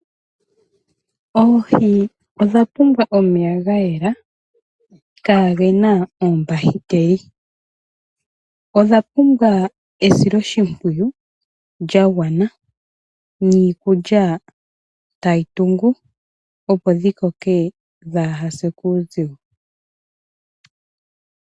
Oohi odha pumbwa omeya gayela kagena ombahiteli. Odha pumbwa esiloshimpwiyu lyagwana niikulya tayi tungu opo dhi koke dhaa ha se kuuzigo.